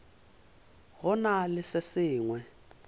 go na le se sengwe